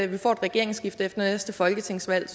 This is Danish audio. vi får et regeringsskifte efter næste folketingsvalg